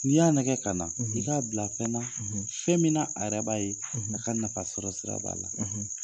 N'i y'a nɛgɛ ka na i k'a bila fɛn na fɛn min na a yɛrɛ b'a ye a ka nafa sɔrɔsira b'a la.